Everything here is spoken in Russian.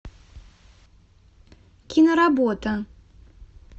киноработа